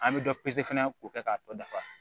An bɛ dɔ pese fana k'o kɛ k'a tɔ dafa